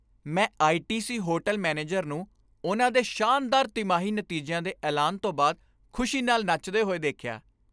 ਮੈਂ ITC. Hotel manager ਨੂੰ ਉਨ੍ਹਾਂ ਦੇ ਸ਼ਾਨਦਾਰ ਤਿਮਾਹੀ ਨਤੀਜਿਆਂ ਦੇ ਐਲਾਨ ਤੋਂ ਬਾਅਦ ਖੁਸ਼ੀ ਨਾਲ ਨੱਚਦੇ ਹੋਏ ਦੇਖਿਆ।